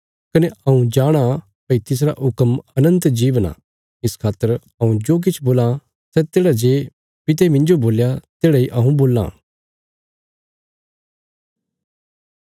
कने हऊँ जाणा भई तिसरा हुक्म अनन्त जीवन आ इस खातर हऊँ जो किछ बोलां सै तेढ़ा जे पिता मिन्जो बोल्या तेढ़ा इ हऊँ बोलां